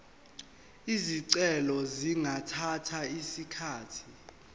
izicelo zingathatha isikhathi